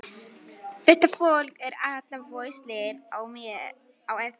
Þetta fólk er allt vitlaust á eftir mér.